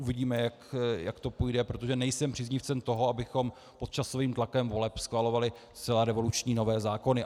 Uvidíme, jak to půjde, protože nejsem příznivcem toho, abychom pod časovým tlakem voleb schvalovali zcela revoluční nové zákony.